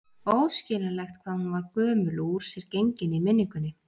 Óskiljanlegt hvað hún var gömul og úr sér gengin í minningunni.